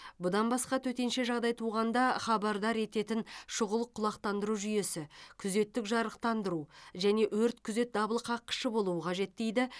бұдан басқа төтенше жағдай туғанда хабардар ететін шұғыл құлақтаныру жүйесі күзеттік жарықтандыру және өрт күзет дабылқаққышы болуы қажет дейді